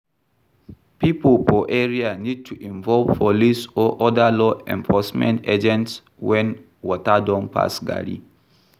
Pipo for area need to involve police or oda law enforcement agents when water don pass garri